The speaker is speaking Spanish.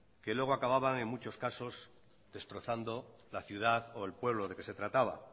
que luego acababan en muchos casos destrozando la ciudad o el pueblo del que se trataba